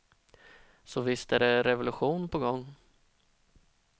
Så visst är det revolution på gång.